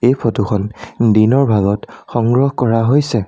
এই ফটোখন দিনৰ ভাগত সংগ্ৰহ কৰা হৈছে।